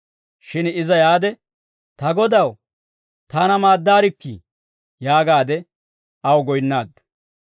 Shin iza yaade, «Ta Godaw, taana maaddaarikkii!» yaagaade aw goyinnaaddu.